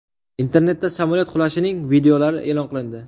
Internetda samolyot qulashining videolari e’lon qilindi.